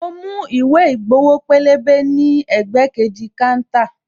Mo mú ìwé ìgbowo pélébé ní ẹ̀gbẹ́ kejì káńtà